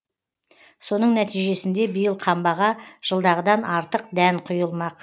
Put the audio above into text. соның нәтижесінде биыл қамбаға жылдағыдан артық дән құйылмақ